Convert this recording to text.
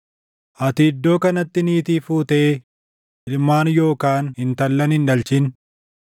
“Ati iddoo kanatti niitii fuutee ilmaan yookaan intallan hin dhalchin.”